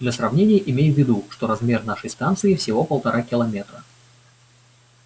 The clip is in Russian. для сравнения имей в виду что размер нашей станции всего полтора километра